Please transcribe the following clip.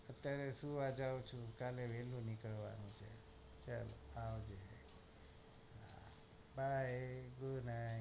અત્યારે સુવા જાઉં છું કાલે વહેલા નીકળવાનું નું છે હા આવજે by good night